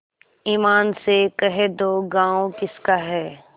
ईमान से कह दो गॉँव किसका है